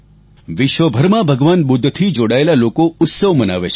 વિશ્વભરમાં ભગવાન બુદ્ધથી જોડાયેલા લોકો ઉત્સવ મનાવે છે